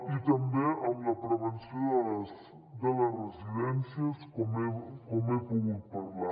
i també amb la prevenció de les residències com he pogut parlar